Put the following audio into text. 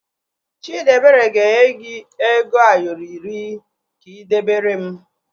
Chidiebere ga-enye gị ego Ayoro iri ka ị debere m